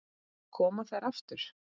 Koma þær aftur?